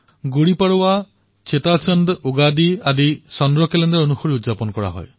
গুড়ী পড়ৱা চেটিচণ্ড উগাদি আদি চন্দ্ৰ কেলেণ্ডাৰ অনুসৰি পালন কৰা হয়